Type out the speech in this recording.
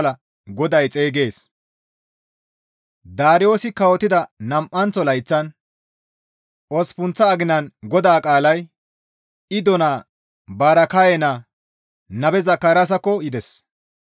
Daariyoosi kawotida nam7anththo layththan osppunththa aginan GODAA qaalay Iddo naa Baraakaye naa Nabe Zakaraasakko yides;